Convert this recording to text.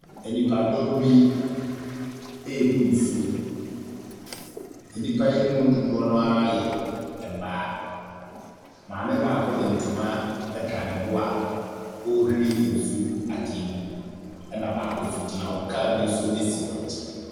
Enipadɔm bi ebu nsuo. Enipa yi mu dodoɔ naa yɛ mmaa. Maame baako de ntoma ɛtwa ne bo a ɔrewhie nsuo ɛgu adeɛ mu ɛna baako nso egyina hɔ. Car bi nso esi wɔn nkyɛn.